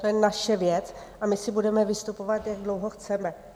To je naše věc a my si budeme vystupovat, jak dlouho chceme.